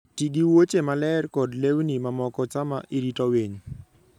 Ti gi wuoche maler kod lewni mamoko sama irito winy.